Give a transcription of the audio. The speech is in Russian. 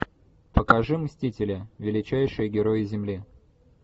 покажи мстители величайшие герои земли